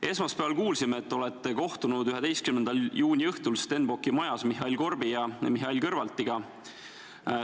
Esmaspäeval kuulsime, et kohtusite 11. juuni õhtul Stenbocki majas Mihhail Korbi ja Mihhail Kõlvartiga.